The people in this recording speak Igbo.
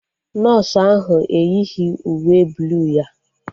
Nọsụ ahụ eyighi uwe bluu ya